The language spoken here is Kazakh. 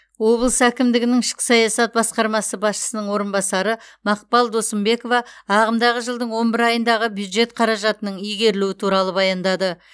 облыс әкімдігінің ішкі саясат басқармасы басшысының орынбасары мақпал досымбекова ағымдағы жылдың он бір айындағы бюджет қаражатының игерілуі туралы баяндады